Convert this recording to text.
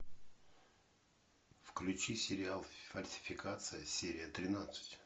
включи сериал фальсификация серия тринадцать